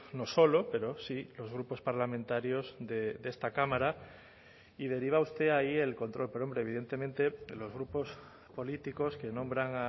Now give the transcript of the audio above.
no solo pero sí los grupos parlamentarios de esta cámara y deriva usted ahí el control pero hombre evidentemente los grupos políticos que nombran